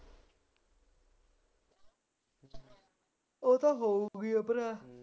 ਉਹ ਤਾਂ ਖਨੀ ਉੱਧਰ ਹੈ